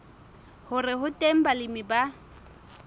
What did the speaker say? hore ho teng balemi ba